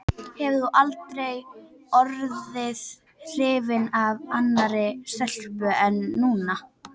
Hefur þú aldrei orðið hrifinn af annarri stelpu en Nínu?